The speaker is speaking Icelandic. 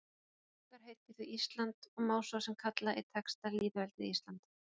Ríkið okkar heitir því Ísland og má svo sem kalla í texta lýðveldið Ísland.